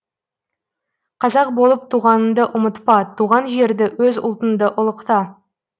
қазақ болып туғаныңды ұмытпа туған жерді өз ұлтыңды ұлықта